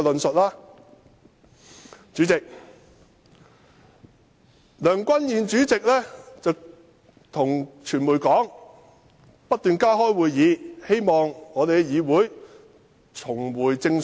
代理主席，梁君彥主席告訴傳媒會不斷加開會議，使立法會議會重回正軌。